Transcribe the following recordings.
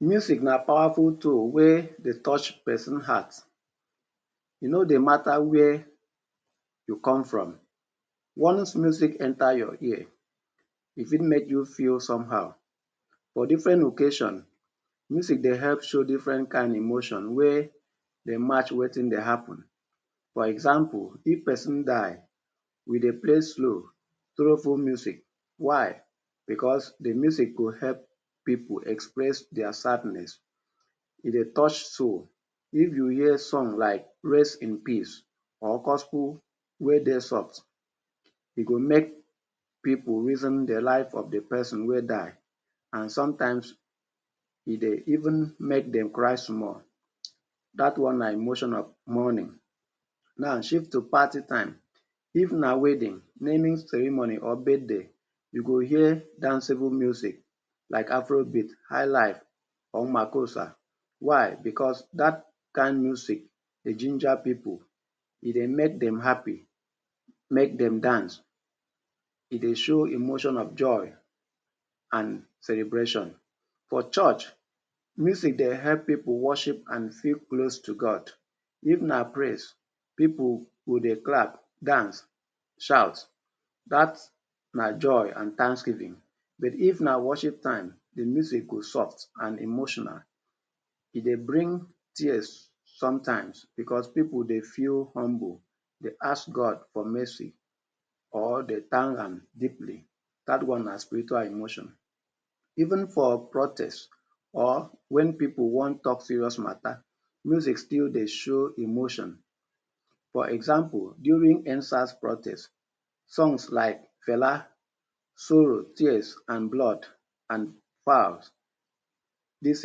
Music na powerful tool wey dey touch pesin heart. E no dey mata where you come from, once music enter your ear, e fit make you feel somehow. For different occasion, music dey help show different kind emotion wey dey match wetin dey happen. For example, if pesin die, we dey play slow, sorrowful music. Why? Because de music go help pipu express dia sadness. E dey touch soul. If you hear song like ‘Rest In Peace’ or gospel wey dey soft, e go make pipu reason de life of the pesin wey die. And sometimes, e dey even make dem cry small. Dat one na emotional mourning. Now shift to party time. If na wedding, naming ceremony or birthday, you go hear danceable music like afrobeat, highlife or makossa. Why? Because dat kind music dey ginger pipu. E dey make dem happy, make dem dance, e dey show emotion of joy and celebration. For church, music dey help pipu worship and feel close to God. If na praise, pipu go dey clap, dance, shout. Dat na joy and thanksgiving. But if na worship time, de music go soft and emotional. E dey bring tears sometimes because pipu dey feel humble, dey ask God for mercy or dey thank am deeply. Dat one na spiritual emotion. Even for protest or wen pipu wan talk serious mata, music still dey show emotion. For example, during ‘End SARS’ protest, songs like Fela ‘sorrow, tears and blood’ and Falz ‘this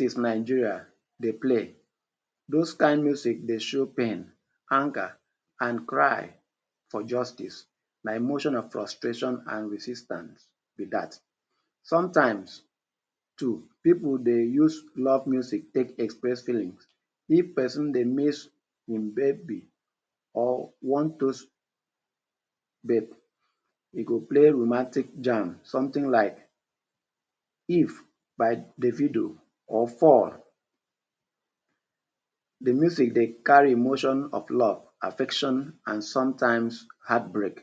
is Nigeria’ dey play. Those kind music dey show pain, anger and cry for justice. Na emotion of frustration and resistance be that. Sometimes too, pipu dey use love music take express feeling. If pesin dey miss im baby or wan toast babe, e go play romantic jam. Something like ‘If’ by Davido or ‘Fall’. De music dey carry emotion of love, affection and sometimes, heartbreak.